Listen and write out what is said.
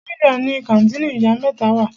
Bódìjà ni kàńtìnì ìyá mẹ́ta wà.